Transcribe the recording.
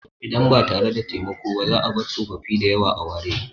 Idan ba tare da taimako ba, za a bar tsofaffi da yawa a ware.